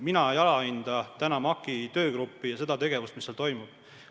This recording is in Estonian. Mina ei alahinda MAK-i töögruppi ja seda tegevust, mis seal toimub.